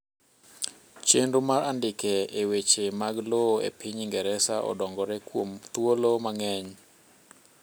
chenro mar andika e weche mag lowo e piny ingereza odongore kuom thuolo mangeny